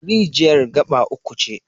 Rijiyar gaɓa uku ce.